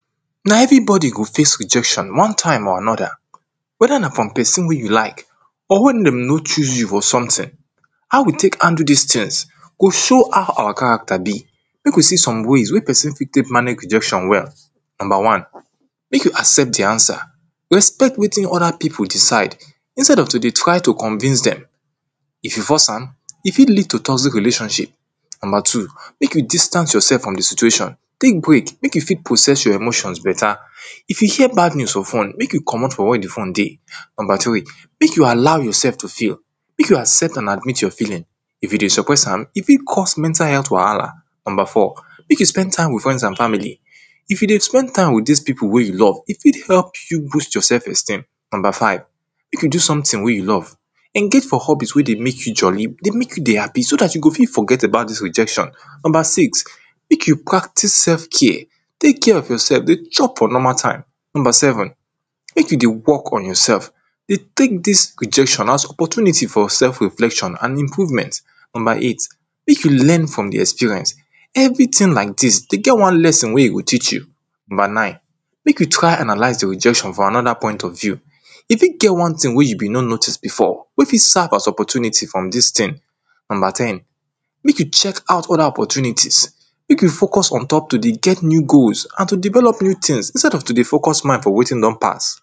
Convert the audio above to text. Na every body go face rejection one time or another whether na from person wey you like or wen dem notice you for something, how we take handle dis things? We show how our character be. Make we see some ways wey person fit take manage rejection well. Number one make you accept di answer, respect with other people decide instead of to dey try to convince dem If you force am if fit lead to toxic relationship. Number two make you distance yourself from di stiuation Take break make you fit process your emotion better. If you hear bad news for phone, make you comot for where di phone dey Number three, make you allow yourself to feel. Make you accept and admit your feeling If you dey suppress am e fit cause mental health wahala. Number four if you dey spend time with friends and family If you dey spend time with dis people wey you love, e fit help you boost your self-esteem. Number five Make you do something wey you love. Engage for hubbies wey dey make you jolly dey make you dey happy so dat you go fit forget about dis rejection Number six make you practice self care, take care of yourself dey chop for normal time Number seven make you dey work on yourslf. Dey take dis rejection as opportunity for self reflection and improvement Number eight make you learn from di experience. Everything like dis dey get one lesson wey e go teach you Number nine make you rry analyze di rejection from another point of view E fit get one thing wey you be no notice before, wey fit serve as opportunity from dis thing Number ten make you check out other opportunities make you focus on top to dey get new goals and to develop new things instead of to dey focus mind on wetin don pass